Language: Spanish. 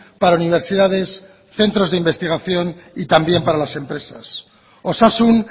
para universidades centros de investigación y también para las empresas osasun